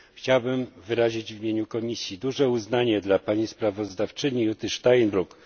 Chciałbym wyrazić w imieniu komisji duże uznanie dla pani sprawozdawczyni Jutty Steinruck.